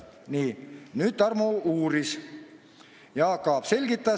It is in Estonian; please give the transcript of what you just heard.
Nii, nüüd Tarmo uuris ja Jaak Aab selgitas.